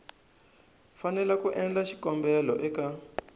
fanele ku endla xikombelo eka